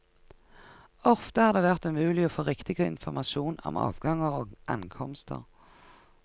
Ofte har det vært umulig å få riktig informasjon om avganger og ankomster.